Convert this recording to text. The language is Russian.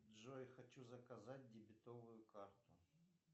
джой хочу заказать дебетовую карту